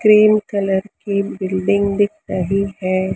Cream colour की building दिख रही है।